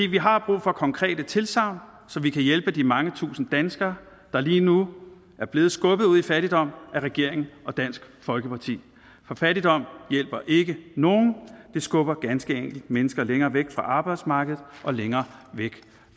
vi har brug for konkrete tilsagn så vi kan hjælpe de mange tusinde danskere der lige nu er blevet skubbet ud i fattigdom af regeringen og dansk folkeparti for fattigdom hjælper ikke nogen det skubber ganske enkelt mennesker længere væk fra arbejdsmarkedet og længere væk